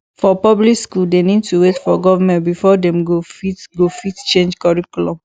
for public school dem need to wait for government before dem go fit go fit change curriculum